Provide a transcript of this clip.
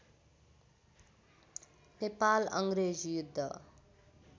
नेपाल अङ्ग्रेज युद्ध